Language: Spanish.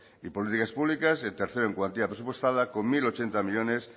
y políticas públicas el tercero en cuantía presupuestada con mil ochenta millónes